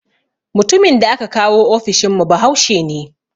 Mutumin da aka kawo ofishin mu bahaushe ne